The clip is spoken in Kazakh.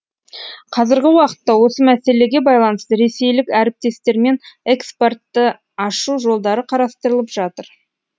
қазіргі уақытта осы мәселеге байланысты ресейлік әріптестермен экспортты ашу жолдары қарастырылып жатыр